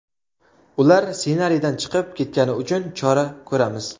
Ular ssenariydan chiqib ketgani uchun chora ko‘ramiz.